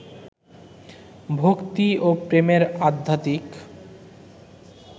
ভক্তি ও প্রেমের আধ্যাত্মিক